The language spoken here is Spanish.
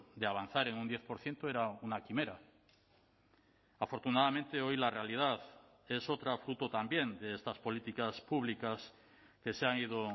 de avanzar en un diez por ciento era una quimera afortunadamente hoy la realidad es otra fruto también de estas políticas públicas que se han ido